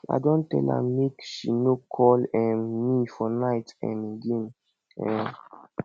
i don tell am make she no call um me for night um again um